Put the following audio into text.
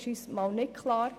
Das ist uns nicht klar.